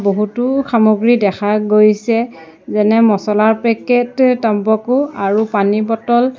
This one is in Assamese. বহুতো সামগ্ৰী দেখা গৈছে যেনে মচলাৰ পেকেট টম্বাকু আৰু পানীৰ বটল ।